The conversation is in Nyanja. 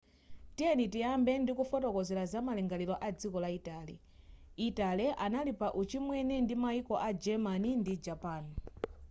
tiyeni tiyambe ndi kufotokozera zamalingaliro a dziko la italy italy anali pa uchimwene ndi maiko a germany ndi japan